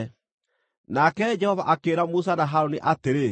Nake Jehova akĩĩra Musa na Harũni atĩrĩ,